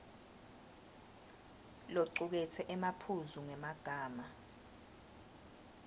locuketse emaphuzu ngemagama